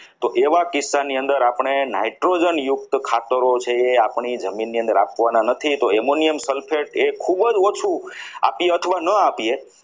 તો એવા કિસ્સાની અંદર આપણે nitrogen યુક્ત ખાતરો જે છે એ આપણી જમીનને ની અંદર આપવાના નથી તો ammonium sulphate એ ખૂબ જ ઓછું આપી અથવા ના આપીએ